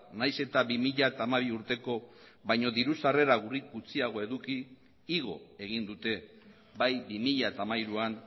nahiz eta bi mila hamabi urteko baino diru sarrera gutxiago eduki igo egin dute bai bi mila hamairuan